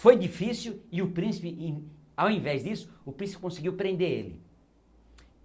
Foi difícil e o príncipe, in ao invés disso, o príncipe conseguiu prender ele.